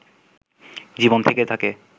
জীবন থেকে থাকে